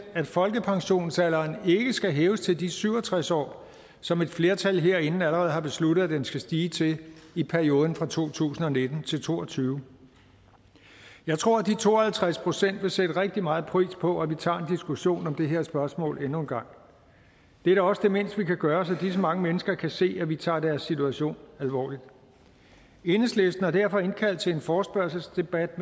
at folkepensionsalderen ikke skal hæves til de syv og tres år som et flertal herinde allerede har besluttet at den skal stige til i perioden fra to tusind og nitten til to og tyve jeg tror at de to og halvtreds procent vil sætte rigtig meget pris på at vi tager en diskussion om det her spørgsmål endnu en gang det er da også det mindste vi kan gøre så disse mange mennesker kan se at vi tager deres situation alvorligt enhedslisten har derfor indkaldt til en forespørgselsdebat